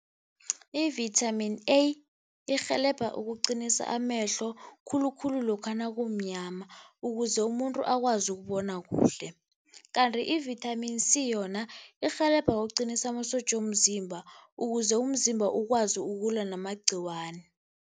I-vitamin A irhelebha ukuqinisa amehlo khulukhulu lokha nakumnyama ukuze umuntu akwazi ukubona kuhle. Kanti i-vitamin C yona irhelebha ukuqinisa amasotja womzimba ukuze umzimba ukwazi ukulwa namagciwane.